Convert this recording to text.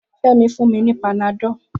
Femi fún mi ni panadọ́l